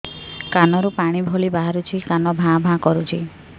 କାନ ରୁ ପାଣି ଭଳି ବାହାରୁଛି କାନ ଭାଁ ଭାଁ କରୁଛି